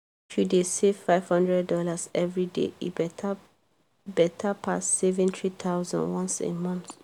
if you dey save five hundred dollars every day e better better pass saving three thousand dollars once a month.